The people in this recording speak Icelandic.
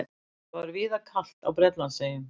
Það var víðar kalt á Bretlandseyjum